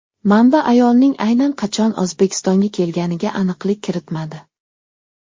Manba ayolning aynan qachon O‘zbekistonga kelganiga aniqlik kiritmadi.